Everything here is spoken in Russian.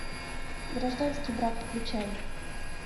гражданский брак включай